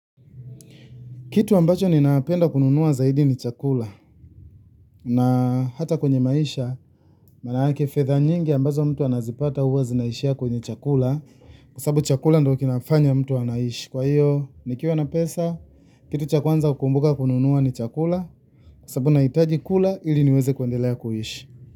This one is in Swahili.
Kitu ambacho ninapenda kununuwa zaidi ni chakula na hata kwenye maisha manake fedha nyingi ambazo mtu anazipata huwa zinaishia kwenye chakula kwasabu chakula ndo kinafanya mtu anaishi kwa hiyo nikiwa na pesa kitu cha kwanza kukumbuka kununuwa ni chakula kwasabu nahitaji kula ili niweze kuendelea kuishi.